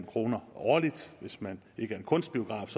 kroner årligt hvis man ikke er en kunstbiograf